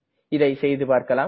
இதை செய்துபார்க்கலாம்